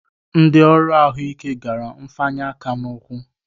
Ndị ọrụ ahụike gara mfanye aka n'ụkwụ